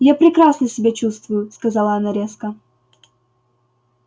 я прекрасно себя чувствую сказала она резко